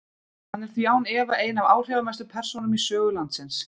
Hann er því án efa ein af áhrifamestu persónum í sögu landsins.